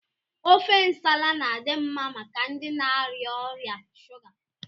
Ofe nsala na-adị mma maka ndị na-arịa ọrịa shuga.